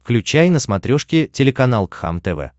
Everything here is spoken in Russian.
включай на смотрешке телеканал кхлм тв